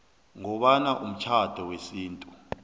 ngoba umtjhado wesintu